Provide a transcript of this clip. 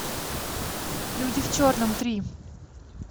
люди в черном три